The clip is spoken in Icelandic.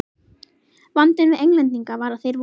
Vandinn við Englendinga var að þeir voru